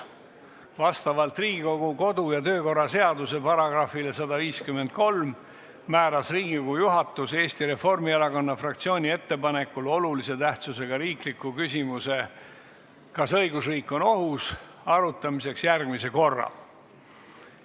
Vastavalt Riigikogu kodu- ja töökorra seaduse §-le 153 määras Riigikogu juhatus Eesti Reformierakonna fraktsiooni ettepanekul olulise tähtsusega riikliku küsimuse "Kas õigusriik on ohus?" arutamiseks järgmise korra.